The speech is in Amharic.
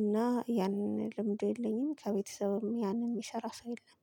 እና ያንን ልምዱ የለኝም ከቤተሰብም ያንን የሚሰራ ሰው የለም።